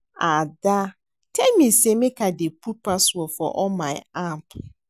Ada tell me say make I dey put password for all my app